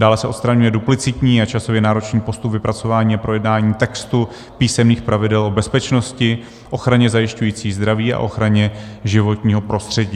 Dále se odstraňuje duplicitní a časově náročný postup vypracování a projednání textu, písemných pravidel o bezpečnosti, ochraně zajišťující zdraví a ochraně životního prostředí.